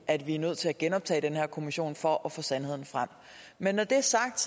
at vi er nødt til at genoptage den her kommission for at få sandheden frem men når det er sagt